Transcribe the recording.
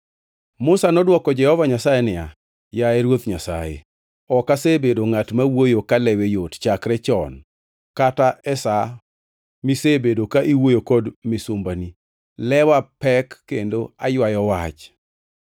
Musa nodwoko Jehova Nyasaye niya, “Yaye Ruoth Nyasaye, ok asebedo ngʼat ma wuoyo kalewe yot chakre chon kata e sa misebedo ka iwuoyo kod misumbani. Lewa pek kendo aywayo wach.”